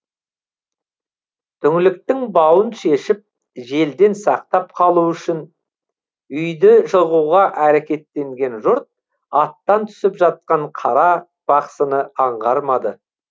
түңліктің бауын шешіп желден сақтап қалу үшін үйді жығуға әрекеттенген жұрт аттан түсіп жатқан қара бақсыны аңғармады